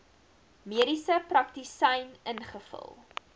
mediese praktisyn ingevul